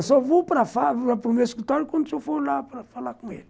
Eu só vou para o meu escritório quando o senhor for lá para falar com ele.